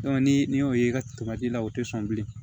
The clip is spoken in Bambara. ni ni y'o ye i ka la o tɛ sɔn bilen